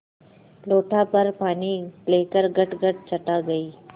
लोटाभर पानी लेकर गटगट चढ़ा गई